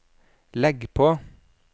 legg på